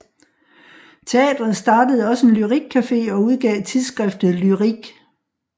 Teateret startede også en lyrikcafe og udgav Tidsskriftet Lyrik